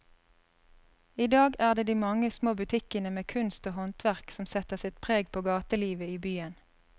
I dag er det de mange små butikkene med kunst og håndverk som setter sitt preg på gatelivet i byen.